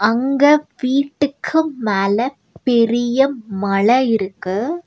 அங்க வீட்டுக்கு மேல பெரிய மல இருக்கு.